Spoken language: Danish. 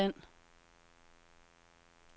afstand